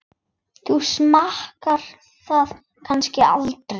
Þú smakkar það kannski aldrei?